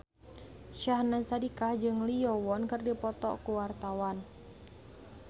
Syahnaz Sadiqah jeung Lee Yo Won keur dipoto ku wartawan